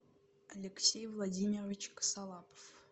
алексей владимирович косолапов